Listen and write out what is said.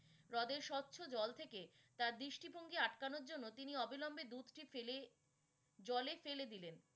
রদের স্বচ্ছ জল থেকে তার দৃষ্টিভঙ্গী আটকনোর জন্য তিনি অবিলম্বে দুধটি ফেলে জলে ফেলে দিলেন।